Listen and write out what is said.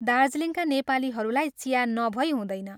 दार्जीलिङका नेपालीहरूलाई चिया नभई हुँदैन।